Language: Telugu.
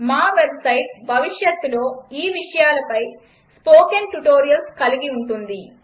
మా వెబ్సైట్ భవిష్యత్తులో ఈ విషయాలపై స్పోకెన్ ట్యుటోరియల్స్ కలిగి ఉంటుంది